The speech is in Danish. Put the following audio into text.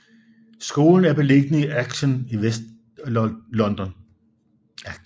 Skolen er beliggende i Acton i Vestlondon